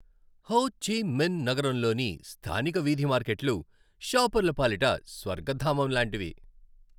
హో Chi Minh నగరంలోని స్థానిక వీధి మార్కెట్లు షాపర్ల పాలిట స్వర్గధామం లాంటివి.